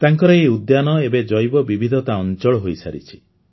ତାଙ୍କର ଏହି ଉଦ୍ୟାନ ଏବେ ଜୈବବିବିଧତା ଅଞ୍ଚଳ ହୋଇସାରିଛି